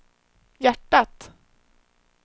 hjärtat